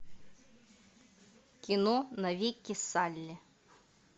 кино навеки салли